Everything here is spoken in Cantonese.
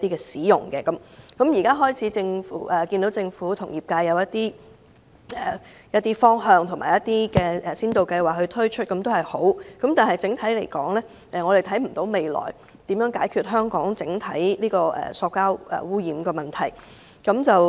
雖然政府已開始與業界訂立一些方向及推出一些先導計劃，這是好事，但整體來說，我們看不到政府未來如何解決香港整體的塑膠污染問題。